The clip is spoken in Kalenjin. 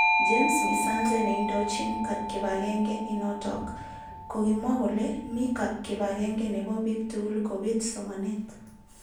James misanze neindojin kipagenge inotok kokimwa kole mi kipagenge nebo bik tugul kobit somanet.